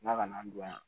La kana an don yan